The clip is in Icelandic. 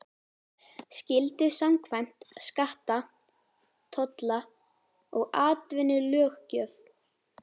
skyldu samkvæmt skatta-, tolla- og atvinnulöggjöf.